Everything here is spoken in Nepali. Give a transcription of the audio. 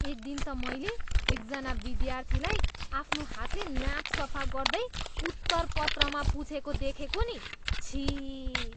एक दिन त मैले एकजना विद्यार्थीलाई आफ्नो हातले नाक सफा गर्दै उत्तरपत्रमा पुछेको देखेको नि। छिः।